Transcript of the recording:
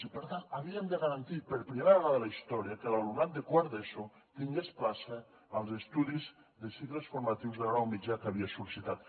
i per tant havíem de garantir per primera vegada a la història que l’alumnat de quart d’eso tingués plaça als estudis de cicles formatius de grau mitjà que havia sol·licitat